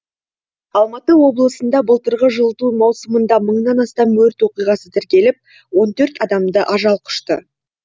алматы облысында былтырғы жылыту маусымында мыңнан астам өрт оқиғасы тіркеліп он төрт адамды ажал құшты